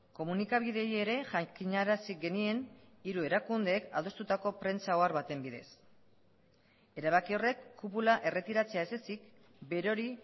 komunikabideei ere jakinarazi genien hiru erakundeek adostutako prentsa ohar baten bidez erabaki horrek kupula erretiratzea ez ezik berori